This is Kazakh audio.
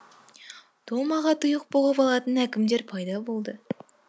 томаға тұйық бұғып алатын әкімдер пайда болды